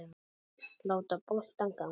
Láta boltann ganga.